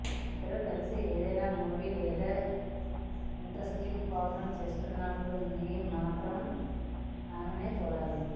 మీరిద్దరూ కలిసి ఏదైనా మూవీ లేదా ఇంటరెస్టింగ్ ప్రోగ్రాం చూస్తున్నప్పుడు మీరు మాత్రం ఆమెనే చూడాలి